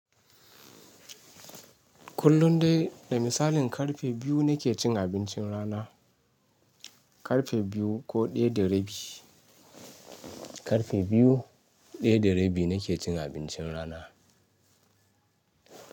Kullun dai da misalin karfe biyu nake cin abincin rana. Karfe biyu ko ɗaya da rabi. Karfe biyu, ɗaya da rabi nake cin abincin rana.